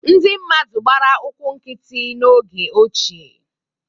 Ndị mmadụ gbara ụkwụ nkịtị n’oge ochie.